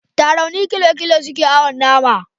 Tarauni kilo kilo suke awon nama